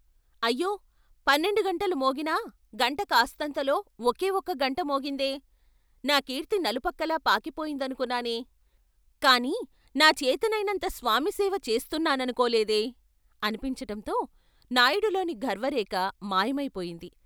అయ్యో పన్నెండు గంటలు మోగినా గంట కాస్తంతలో ఒకే ఒక్క గంట మోగిందే. నా కీర్తి నలుపక్కలా పాకిపోయిందనుకున్నానే కాని నా చేతనైనంత స్వామి సేవ చేస్తున్నాననుకోలేదే "అనిపించటంతో నాయుడిలోని గర్వరేఖ మాయమై పోయింది.